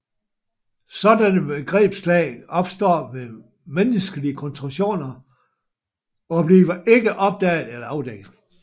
Sådanne begrebslag opstår ved menneskelige konstruktioner og bliver ikke opdaget eller afdækket